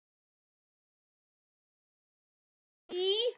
Ég sagði henni að bóndinn í